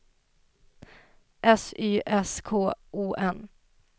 S Y S K O N